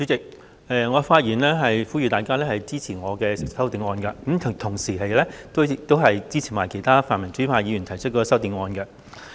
代理主席，我發言呼籲大家支持我的修正案，同時亦支持其他泛民主派議員提出的修正案。